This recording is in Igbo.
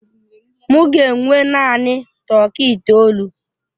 M ga enwe naanị tọkị itoolu.